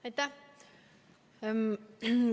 Aitäh!